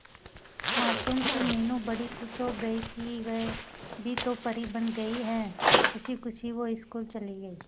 मासूम सी मीनू बड़ी खुश हो गई कि वह भी तो परी बन गई है खुशी खुशी वो स्कूल चली गई